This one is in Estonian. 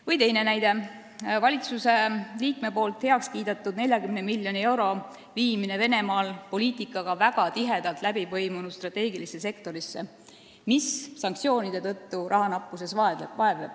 Või teine näide: valitsusliige on kiitnud heaks 40 miljoni euro viimise Venemaal poliitikaga väga tihedalt läbi põimunud strateegilisse sektorisse, mis sanktsioonide tõttu rahanappuses vaevleb.